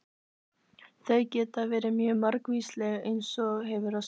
Þau geta verið mjög margvísleg eins og gefur að skilja.